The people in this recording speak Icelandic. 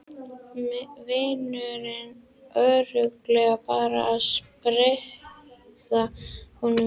Vinurinn örugglega bara að stríða honum.